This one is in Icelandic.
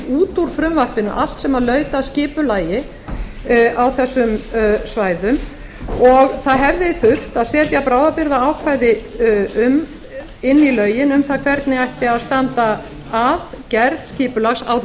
út úr frumvarpinu allt sem laut að skipulagi á þessum svæðum og það hefði þurft að setja bráðabirgðaákvæði inn í lögin um það hvernig ætti að standa að gerð skipulags á